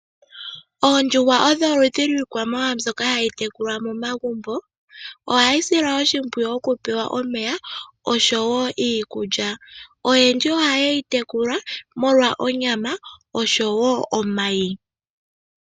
Oondjuhwa odho oludhi lwiikwamawawa mbyoka hayi tekulwa momagumbo. Ohayi silwa oshimpwiyu okupewa omeya osho wo iikulya. Oyendji oha ye yitekula molwa onyama oshowo omayi.